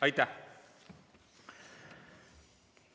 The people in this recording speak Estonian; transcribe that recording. Aitäh!